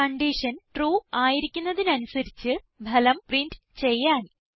condition true ആയിരിക്കുന്നതിന് അനുസരിച്ച് ഫലം പ്രിന്റ് ചെയ്യാൻ